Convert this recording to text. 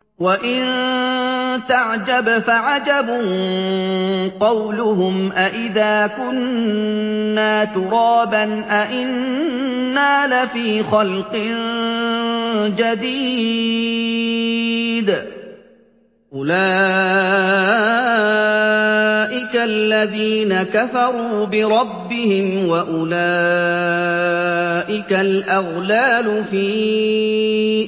۞ وَإِن تَعْجَبْ فَعَجَبٌ قَوْلُهُمْ أَإِذَا كُنَّا تُرَابًا أَإِنَّا لَفِي خَلْقٍ جَدِيدٍ ۗ أُولَٰئِكَ الَّذِينَ كَفَرُوا بِرَبِّهِمْ ۖ وَأُولَٰئِكَ الْأَغْلَالُ فِي